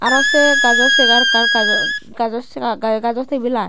aro se gajo chegar ekkan gajo gajo chega gajo tebil aai.